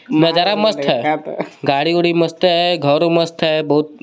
नजारा मस्त हे गाडी गुड़ी मस्त हे घर मस्त हे बोहोत.